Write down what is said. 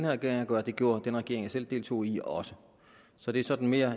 regering at gøre det gjorde den regering jeg selv deltog i også så det er sådan mere